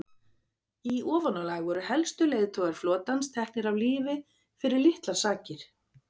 Í ofanálag voru helstu leiðtogar flotans teknir af lífi fyrir litlar sakir.